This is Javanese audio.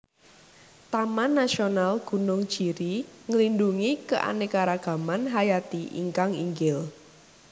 Taman Nasional Gunung Jiri nglindungi keanekaragaman hayati ingkang inggil